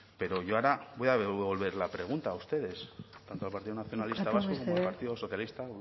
pero yo ahora voy a devolver la pregunta a ustedes tanto al partido nacionalista vasco como al partido socialista